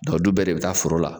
du bɛɛ de bɛ taa foro la.